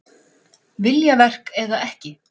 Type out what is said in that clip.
Viljaverk eða ekki?